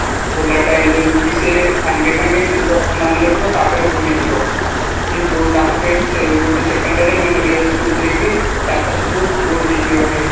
volatile ଯେମିତିକି ସିଏ ସାଙ୍ଗେ ସାଙ୍ଗେ ଜିନିଷଟାକୁ ମାନେ ରଖିବା ତାପରେ ଭୁଲିଯିବ କିନ୍ତୁ ତା ପାଖରେ ସେ secondary ମେମୋରୀ ଅଛି ଯୋଉଥିରେକି data ସବୁ store ହେଇକି ରୁହେ